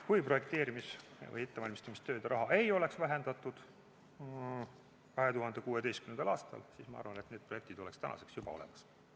Kui projekteerimise või ettevalmistamistööde raha ei oleks vähendatud 2016. aastal, siis ma arvan, et need projektid oleks juba olemas.